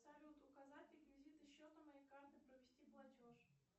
салют указать реквизиты счета моей карты провести платеж